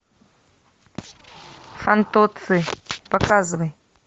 фантоцци показывай